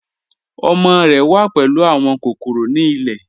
Ọmọ rẹ wà pẹ̀lú awọn kòkòrò ni ilẹ̀.